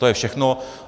To je všechno.